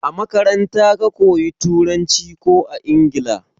A makaranta ka koya Turanci ko a Ingila?